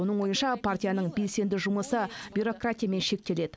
оның ойынша партияның белсенді жұмысы бюрократиямен шектеледі